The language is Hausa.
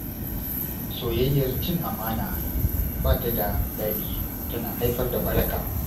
Soyayyar cin amana ba ta da daɗi, tana haifar da ɓaraka.